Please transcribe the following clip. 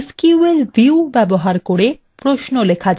SQL view ব্যবহার করে প্রশ্ন লেখা যায়